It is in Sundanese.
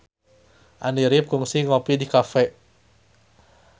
Andy rif kungsi ngopi di cafe